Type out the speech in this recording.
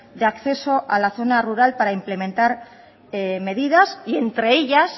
de acceso a la zona rural para implementar medidas y entre ellas